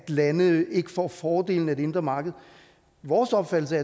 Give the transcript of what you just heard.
at lande ikke får fordelene af det indre marked vores opfattelse